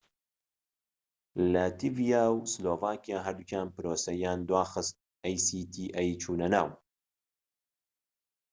لاتیڤیا و سلۆڤاکیا هەردووکیان پرۆسەی چونەناو actaیان دواخست